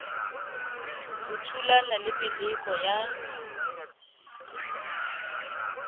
o thulana le meleko ya